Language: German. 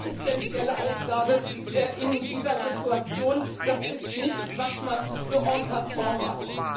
wirklich existenzielle Aufgabe in dieser Situation, das ist nichts, was man so en passant macht.